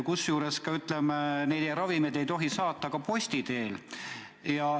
Ka ei tohi ravimeid saata posti teel.